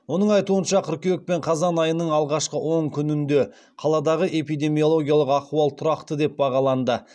оның айтуынша кыркүйек пен қазан айының алғашқы он күнінде қаладағы эпидемиологиялық ахуал тұрақты деп бағаланды